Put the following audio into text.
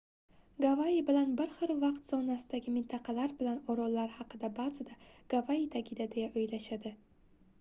gavayi bilan bir xil vaqt zonasidagi mintaqalar bilan orollar haqida baʼzida gavayi tagida deya oʻylashadi